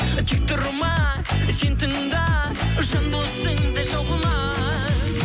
тек тұрма сен тыңда жан досыңды жау қылма